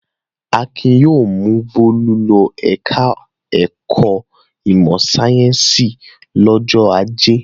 Akin yóò mú Bólú lọ ẹ̀ka-ẹ̀kọ́ ìmọ̀-sáyẹ́ńsì lọ́jọ́ ajé.